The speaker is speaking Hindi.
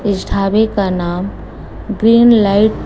इस ढाबे का नाम ग्रीन लाइट --